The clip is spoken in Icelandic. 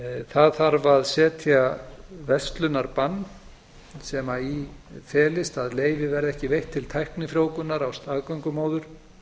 það þarf að setja verslunarbann sem í felist að leyfi verði ekki veitt til tæknifrjóvgunar á staðgöngumóður